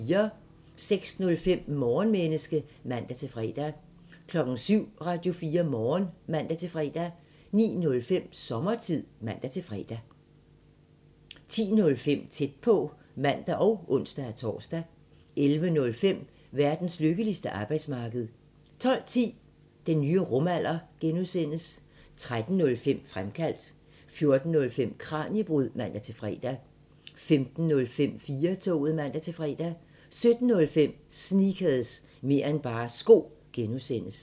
06:05: Morgenmenneske (man-fre) 07:00: Radio4 Morgen (man-fre) 09:05: Sommertid (man-fre) 10:05: Tæt på (man og ons-tor) 11:05: Verdens lykkeligste arbejdsmarked 12:10: Den nye rumalder (G) 13:05: Fremkaldt 14:05: Kraniebrud (man-fre) 15:05: 4-toget (man-fre) 17:05: Sneakers – mer' end bare sko (G)